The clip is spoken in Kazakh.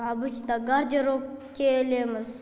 обычно гардеробке ілеміз